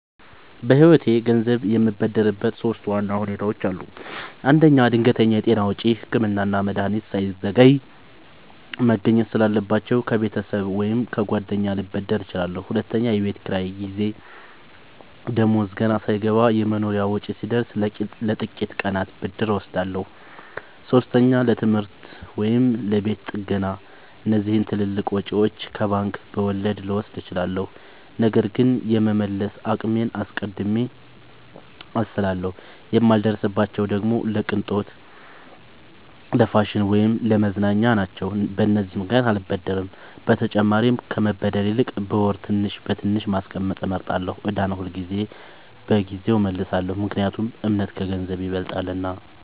በህይወቴ ገንዘብ የምበደርበት ሶስት ዋና ሁኔታዎች አሉ። አንደኛ፣ ድንገተኛ የጤና ወጪ – ህክምና እና መድሀኒት ሳይዘገይ መገኘት ስላለባቸው፣ ከቤተሰብ ወይም ከጓደኛ ልበደር እችላለሁ። ሁለተኛ፣ የቤት ኪራይ ጊዜ – ደሞዝ ገና ሳይገባ የመኖሪያ ወጪ ሲደርስ፣ ለጥቂት ቀናት ብድር እወስዳለሁ። ሶስተኛ፣ ለትምህርት ወይም ለቤት ጥገና – እነዚህን ትልልቅ ወጪዎች ከባንክ በወለድ ልወስድ እችላለሁ፣ ነገር ግን የመመለስ አቅሜን አስቀድሜ አስላለሁ። የማልበደርባቸው ደግሞ ለቅንጦት፣ ለፋሽን ወይም ለመዝናኛ ናቸው። በተጨማሪም ከመበደር ይልቅ በወር ትንሽ በትንሽ ማስቀመጥ እመርጣለሁ። ዕዳን ሁልጊዜ በጊዜው እመልሳለሁ – ምክንያቱም እምነት ከገንዘብ ይበልጣልና።